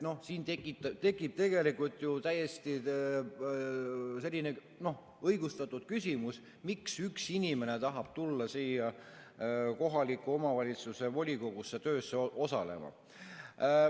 Siin tekib ju täiesti õigustatud küsimus, miks üks inimene tahab tulla siia kohaliku omavalitsuse volikogu töös osalema.